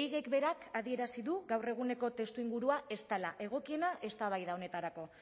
ehigek berak adierazi du gaur eguneko testuingurua ez dela egokiena eztabaida honetarako